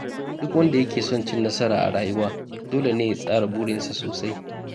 Duk wanda ke son cin nasara a rayuwa, dole ne ya tsara burinsa sosai.